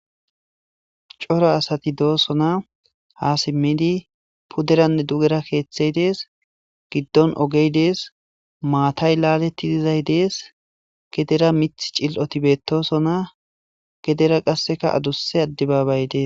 Cora asati doosona ha simmidi puderanne dugera keeththey dees giddon ogey dees maatay laaletti dizay dees gedera mith cil'oti betosona gedera qasseka adusse addebabay dees